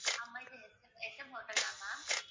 ஆமாம் இது S M S M hotel தான் ma'am